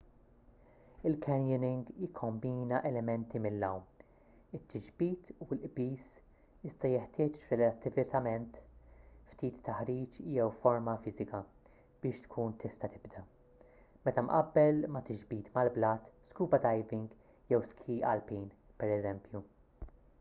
il-canyoning jikkombina elementi mill-għawm it-tixbit u l-qbiż--iżda jeħtieġ relattivament ftit taħriġ jew forma fiżika biex tkun tista’ tibda meta mqabbel ma’ tixbit mal-blat scuba diving jew ski alpin pereżempju